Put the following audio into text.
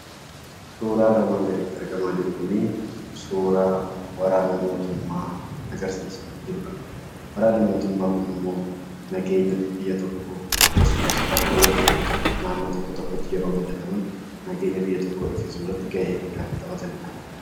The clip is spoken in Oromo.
Suuraan armaan gaditti argamaa jiru kunii, suuraa waraana mootummaa agarsiisaa jirudha. Waraanni mootummaa kunimmoo, nageenya biyya tokkoo, akkasumas rakkoowwan tokko tokko naannoo tokko tokkotti yeroo mudataman , nageenya biyya tokkoo eegsisuurratti gahee guddaa kan taphataniidha.